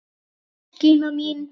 Bless Gína mín!